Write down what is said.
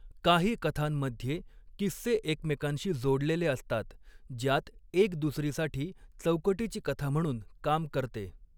काही कथांमध्ये, किस्से एकमेकांशी जोडलेले असतात, ज्यात एक दुसरीसाठी चौकटीची कथा म्हणून काम करते.